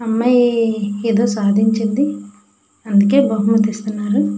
అమ్మాయి ఏదో సాధించింది అందుకే బహుమతిస్తున్నారు.